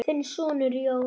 Þinn sonur, Jón.